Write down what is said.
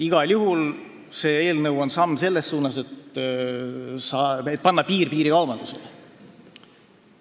Igal juhul on see eelnõu samm selles suunas, et piirikaubandusele piir panna.